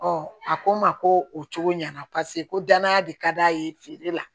a ko n ma ko o cogo ɲɛna paseke ko danaya de ka d'a ye feere la